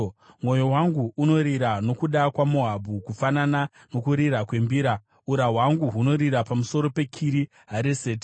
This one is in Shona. Mwoyo wangu unorira nokuda kwaMoabhu, kufanana nokurira kwembira, mukati kati mangu munorira nokuda kweKiri Hareseti.